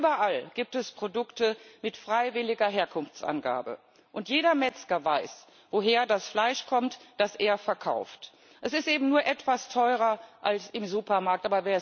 Überall gibt es Produkte mit freiwilliger Herkunftsangabe, und jeder Metzger weiß, woher das Fleisch kommt, das er verkauft. Es ist eben nur etwas teurer als im Supermarkt.